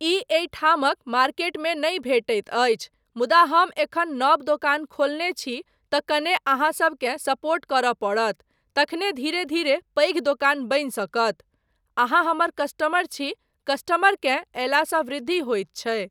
ई एहिठामक मार्केट मे नहि भेटैत अछि मुदा हम एखन नव दोकान खोलने छी तँ कने अहाँसबकेँ सपोर्ट करय पड़त तखने धीरे धीरे पैघ दोकान बनि सकत। अहाँ हमर कस्टमर छी, कस्टमरकेँ अयलासँ वृद्धि होइत छै।